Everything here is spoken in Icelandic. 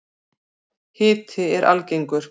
Hiti er algengur.